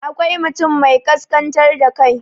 akwai mutum mai kaskantar da kai